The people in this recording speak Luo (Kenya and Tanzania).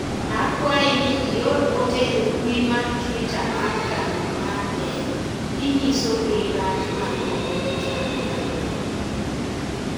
akwayi ni ior ote e mbui mar twita mar kambi mar dell kinyisogi rach mar komputa mar lwedo